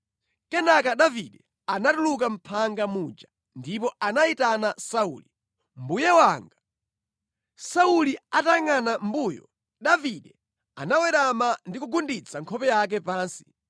Kenaka Davide anatuluka mʼphanga muja ndipo anayitana Sauli, “Mbuye wanga!” Sauli atayangʼana mʼmbuyo, Davide anawerama ndi kugunditsa nkhope yake pansi.